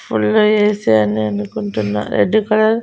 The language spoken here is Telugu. ఫుల్ ఏ_సి అని అనుకుంటున్నా రెడ్డు కలర్ --